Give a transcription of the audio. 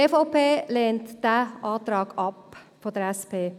Die EVP lehnt diesen Antrag der SP-JUSO-PSA-Fraktion ab.